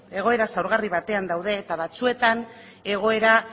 egoera zaurgarri batean daude eta batzuetan egoera